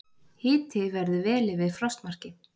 Hiti verður vel yfir frostmarki